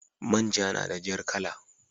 Man ja nada jar kala